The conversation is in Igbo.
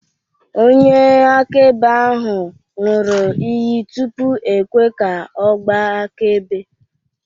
Onyeakaebe ahụ ṅụrụ iyi tupu e kwe ka ọ gbaa akaebe